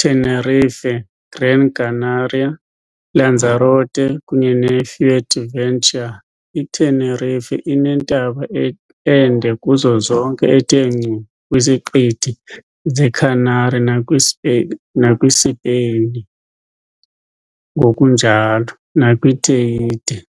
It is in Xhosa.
Tenerife, Gran Canaria, Lanzarote, kunye ne-Fuerteventura. I-Tenerife inentaba ende kuzo zonke ethe ngcu kwiziqithi ze-Canary nakwisipain ngokunjalo, nakwi-Teide.